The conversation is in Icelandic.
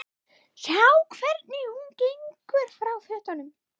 Sjá hvernig hún gengur frá fötunum.